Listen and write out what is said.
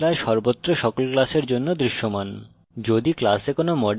এটি প্রদর্শন করে যে এই class সর্বত্র সকল class কাছে দৃশ্যমান